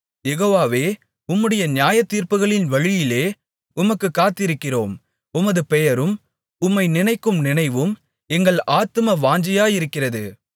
யெகோவாவே உம்முடைய நியாயத்தீர்ப்புகளின் வழியிலே உமக்குக் காத்திருக்கிறோம் உமது பெயரும் உம்மை நினைக்கும் நினைவும் எங்கள் ஆத்தும வாஞ்சையாயிருக்கிறது